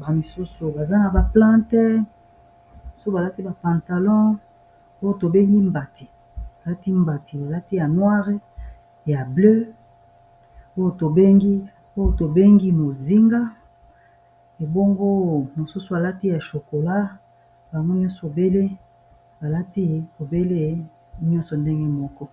bamisusu baza na baplante balati bapantalon oyo tobengi balati mbati balati ya noire ya bleu oyo tobengi mozinga ebongo mosusu balati ya chokola baylbalati obele nyonso ndenge moko